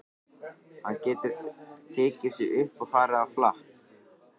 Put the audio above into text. Hann getur tekið sig upp og farið á flakk.